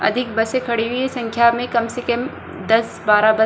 अधिक बसे खड़ी हुई है संख्या मे कम से कम दस बारह बस --